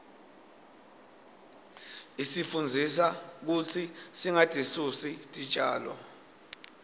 isifundzisa kutsi singatisusi titjalo